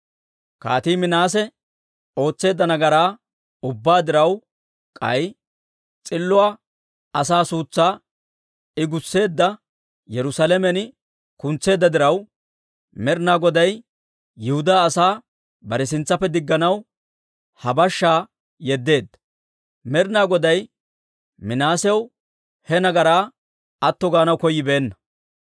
Kaatii Minaase ootseedda nagaraa ubbaa diraw, k'ay s'illo asaa suutsaa I gussiide, Yerusaalamen kuntseedda diraw, Med'ina Goday Yihudaa asaa bare sintsaappe digganaw ha bashshaa yeddeedda; Med'ina Goday Minaasew he nagaraa atto gaanaw koyyibeenna.